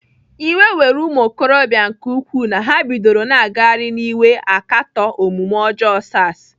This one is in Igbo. Iwe were ụmụokorobịa nke ukwuu na ha bidoro na-agagharị n'iwe akatọ omume ọjọọ SARs.